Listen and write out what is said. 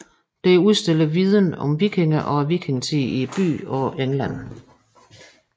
Det udstiller viden om vikinger og vikingetiden i byen og England